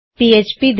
ਤੁਹਾਡਾ ਸਵਾਗਤ ਹੈ